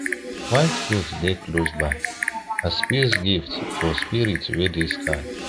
white goat dey close by as peace gift for spirit wey dey sky